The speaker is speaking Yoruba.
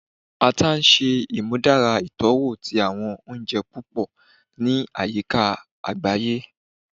Ata ṣe imudara itọwo ti awọn ounjẹ pupọ ni ayika agbaye